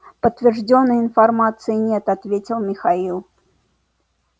подтверждённой информации нет ответил михаил